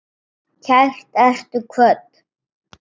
Kært ertu kvödd.